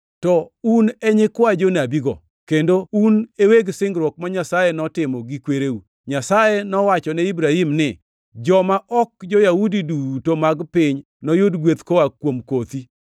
To un e nyikwa jonabigo, kendo un e weg singruok ma Nyasaye notimo gi kwereu. Nyasaye nowachone Ibrahim ni, ‘joma ok jo-Yahudi duto mag piny noyud gweth koa kuom kothi.’ + 3:25 \+xt Chak 22:18; 26:4\+xt*